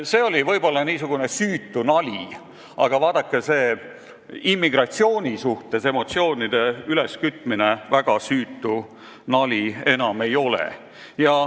See oli võib-olla süütu nali, aga see emotsioonide üleskütmine immigratsiooni teemal enam väga süütu nali ei ole.